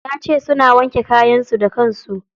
Yace suna wanke kayan su da kansu.